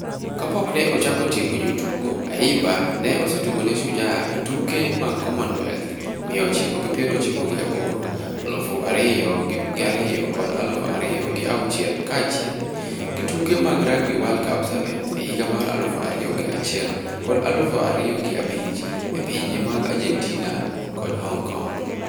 Kapok ne ochako tiego jotugo, Ayimba ne osetugo ne Shujaa e tuke mag Commonwealth miya ochiko gi piero ochiko gi aboro, aluf ariyo gi ariyo kod aluf ariyo gi auchiel kaachiel gi tuke mag Rugby World Cup Sevens e higa mar aluf ariyo gi achiel kod aluf ariyo gi abich e pinje mag Argentina kod Hong Kong.